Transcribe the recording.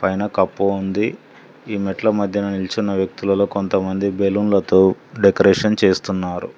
పైన కప్పు ఉంది ఈ మెట్ల మధ్యన నిలుచున్న వ్యక్తులలో కొంతమంది బెలూన్లతో డెకరేషన్ చేస్తున్నారు.